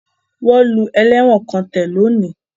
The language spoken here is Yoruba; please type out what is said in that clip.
Wọ́n lu ẹlẹ́wọ̀n kan tẹ̀ lónìí